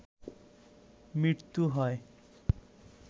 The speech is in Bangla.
মৃত্যু হয়